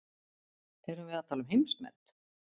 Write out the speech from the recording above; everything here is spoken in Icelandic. Erum við að tala um heimsmet?